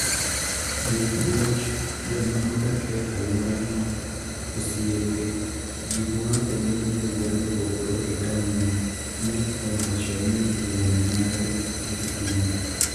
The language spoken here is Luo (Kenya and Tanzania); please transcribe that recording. Jopuonj, joma odak e alworano, osiepe, ji moa kuonde mopogore opogore e taondno", ne owacho ne wuon mare e simo.